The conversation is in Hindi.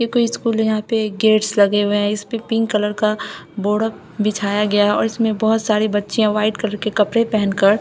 ये कोई स्कूल है यहां पे गेट्स लगे हुए हैं इस पे पिंक कलर का बॉर्डर बिछाया गया है और उसमें बहोत सारे बच्चे व्हाइट कलर के कपड़े पहन कर--